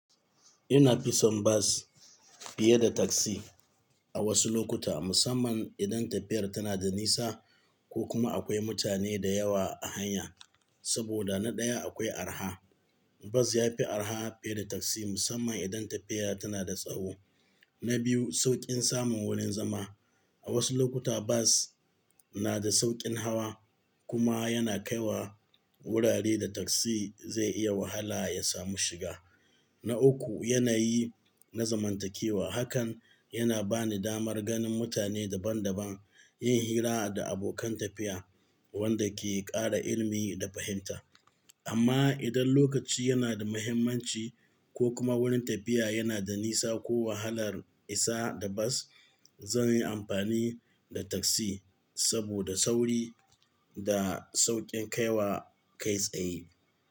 Ina fi son bas fiye da taksi a wasu lokuta, musamman idan tafiyar tana da nisa ko kuma akwai mutane da yawa a hanya. Saboda na ɗaya akwai arha, bas yafi araha fiye da taksi musamman idan tafiya tana da tsawo. Na biyu sauƙin samun wurin zama. A wasu lokuta bas na da sauƙin hawa kuma yana kaiwa wurare da taksi zai iya wahala ya samu shiga. Na uku yanayi na zamantakewa. Hakan yana bani damar ganin mutane daban-daban, yin hira da abokan tafiya wanda ke ƙara ilimi da fahimta. Amma idan lokaci yana da muhimmanci ko kuma wurin tafiya yana da nisa ko wahalar isa da bas, zan yi amfani da taksi saboda sauri da sauƙin kaiwa kai tsaye.